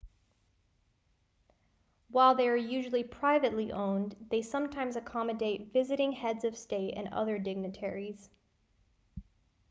while they are usually privately owned they sometimes accommodate visiting heads of state and other dignitaries